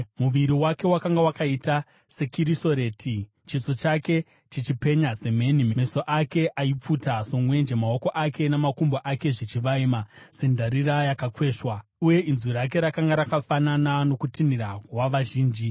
Muviri wake wakanga wakaita sekirisoreti, chiso chake chichipenya semheni, meso ake aipfuta somwenje, maoko ake namakumbo ake zvichivaima sendarira yakakweshwa, uye inzwi rake rakanga rakafanana nokutinhira wavazhinji.